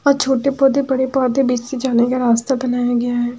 और छोटे पौधे बड़े पौधे बीच से जाने का रास्ता बनाया गया है।